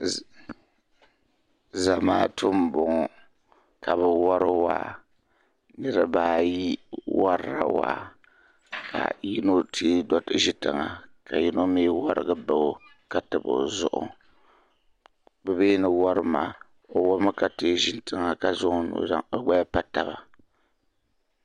Zamaatu n bɔŋɔ kabi wari waa bɛ baaayi warila waa ka yinɔ teeʒi tiŋa ka yinɔ mi warig baɔ katabi ɔzuɣu bimini wari maa ɔwarimi katee ʒi tiŋa ka zaŋ ɔ gbaya n pa taba